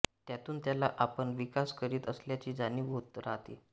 त्यातून त्याला आपण विकास करीत असल्याची जाणीव होत राहते